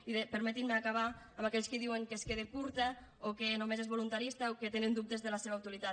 i permetin me acabar amb aquells que diuen que es queda curta o que només és voluntarista o que tenen dubtes de la seva utilitat